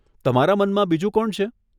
તમારા મનમાં બીજું કોણ છે?